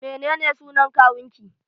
Menene sunan kawun ki?